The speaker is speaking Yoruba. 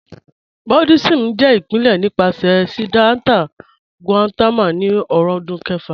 Buddhism jẹ ipilẹ̀ nipasẹ̀ Siddhartha Gautama ni ọ̀rúndún kẹ̀fà.